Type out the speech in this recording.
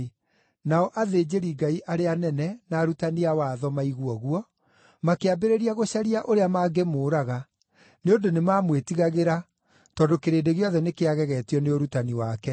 Nao athĩnjĩri-Ngai arĩa anene na arutani a watho maigua ũguo, makĩambĩrĩria gũcaria ũrĩa mangĩmũũraga, nĩ ũndũ nĩmamwĩtigagĩra, tondũ kĩrĩndĩ gĩothe nĩkĩagegetio nĩ ũrutani wake.